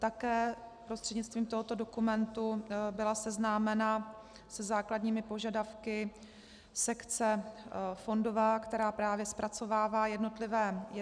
Také prostřednictvím tohoto dokumentu byla seznámena se základními požadavky sekce fondová, která právě zpracovává jednotlivé výzvy.